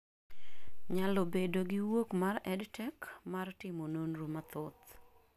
nyalo bedo gi wuok mar EdTech mar timo nonro mathoth